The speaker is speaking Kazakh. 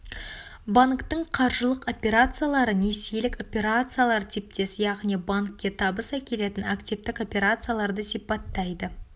банктің қаржылық операциялары несиелік операциялар типтес яғни банкке табыс әкелетін активтік операцияларды сипаттайды